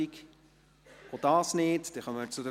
– Auch dies ist nicht der Fall.